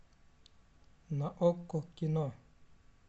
на окко кино